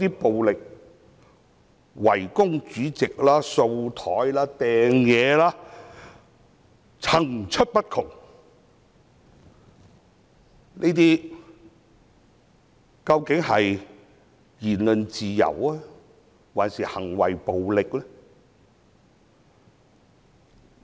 暴力圍攻主席、把桌子上的物件推落地上、擲物等，層出不窮，這些究竟是言論自由，還是暴力行為呢？